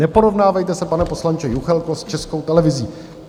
Neporovnávejte se, pane poslanče Juchelko, s Českou televizí.